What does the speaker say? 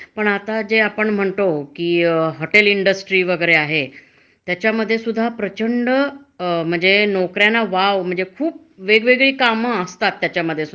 म्हणजे आचारी म्हणून आहे, वाढपी म्हणून पण आहे, कुठे त्या धाब्यांसमोर बागकाम करणारे म्हणून पण आहेत. म्हणजे अश्या नोकऱ्या अश्या या याच्यामध्ये खूप असतात.